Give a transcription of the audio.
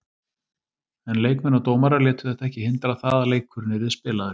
En leikmenn og dómarar létu þetta ekki hindra það að leikurinn yrði spilaður.